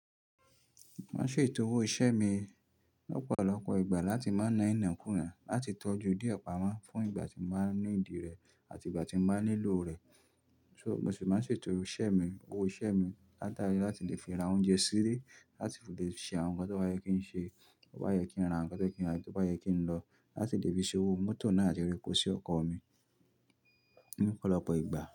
Mo n ṣe ìtòwò iṣẹ́ mi lọ̀pọ̀lọpọ̀ ìgbà láti máa ná ina kúna láti tọ́jú díẹ̀ pamọ́ fún ìgbà tí mo bá need rẹ̀ àti ìgbà tí mo bá nílò rẹ̀. So, mo sì máa ń ṣe ètò iṣẹ́ mi, owó iṣẹ́ mi látari láti lè fi ra oúnjẹ sílé, láti le ṣe àwọn nǹkan tí ó bá yẹ kí n ṣe, tó bá yẹ kí n ra nǹkan tó yẹ kí n ra, tó bá yẹ kí n lọ láti lè fi ṣòwò mótò náà àti ra epo sí ọkọ̀ mi ní ọ̀pọ̀lọpọ̀ ìgbà.